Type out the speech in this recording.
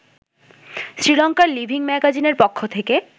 শ্রীলঙ্কার লিভিং ম্যাগাজিনের পক্ষ থেকে